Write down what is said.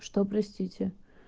что простите